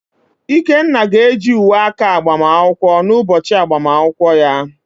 Ikenna ga-eji uwe aka agbamakwụkwọ n’ụbọchị agbamakwụkwọ ya.